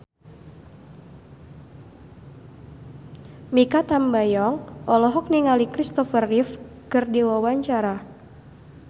Mikha Tambayong olohok ningali Kristopher Reeve keur diwawancara